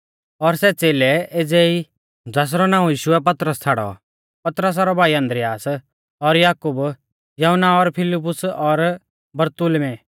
और सै च़ेलै एज़ै ई शिमौन ज़ासरौ नाऊं यीशुऐ पतरस छ़ाड़ौ पतरसा रौ भाई आन्द्रियास और याकूब यहुन्ना और फिलिपुस और बरतुल्मै